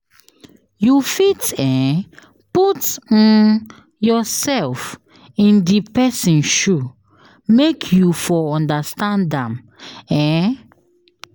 You fit um put um yourself in di persin shoe make you for understand am um